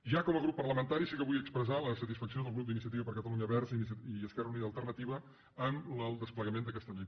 ja com a grup parlamentari sí que vull expressar la satisfacció del grup d’iniciativa per catalunya verds i esquerra unida i alternativa amb el desplegament d’aquesta llei